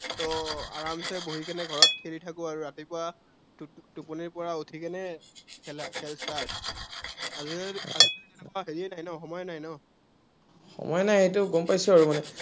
তো আৰামচে বহিকেনে ঘৰত খেলি থাকো, ৰাতিপুৱা টোপনিৰপৰা উঠিকেনে খেলা খেল start, আজিকালি আজিকালি তেনেকুৱা সময়ে নাই ন। সময় নাই সেইটো গম পাইছো আৰু।